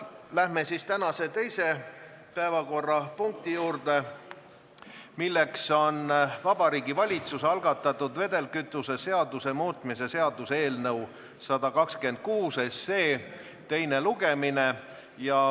Läheme tänase teise päevakorrapunkti juurde, milleks on Vabariigi Valitsuse algatatud vedelkütuse seaduse muutmise seaduse eelnõu 126 teine lugemine.